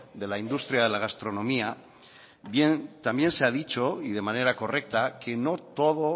de la industria de la gastronomía también se ha dicho y de manera correcta que no todo